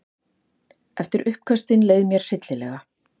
Eftir uppköstin leið mér hryllilega.